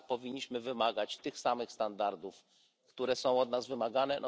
Tak, powinniśmy wymagać tych samych standardów, które są od nas wymagane.